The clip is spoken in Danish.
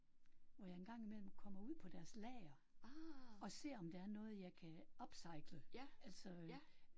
Hvor jeg engang imellem kommer ud på deres lager og ser om der er noget jeg kan upcycle altså